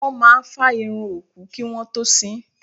Wọ́n máa fá irun òkú kí wọ́n tó sín.